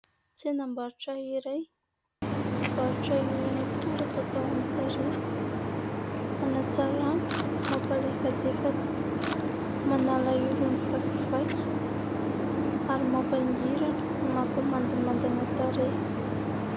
Tsenam-barotra iray mivarotra irony akora fatao amin'ny tarehy : hanatsarana, mampalefadefaka, manala irony vakivaky ary mampangirana no mampamandimandina tarehy.